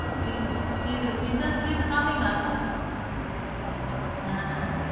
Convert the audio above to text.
C see season three is coming up hmm